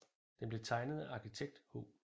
Den blev tegnet af arkitekt H